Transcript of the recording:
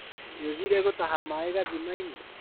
Nĩũthire gũtaha maĩ gathimainĩ?